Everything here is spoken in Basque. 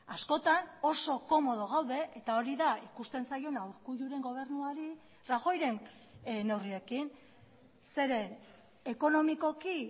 askotan oso komodo gaude eta hori da ikusten zaiona urkulluren gobernuari rajoyren neurriekin zeren ekonomikoki